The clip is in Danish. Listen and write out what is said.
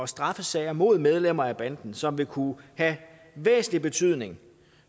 straffesager mod medlemmer af banden som vil kunne have væsentlig betydning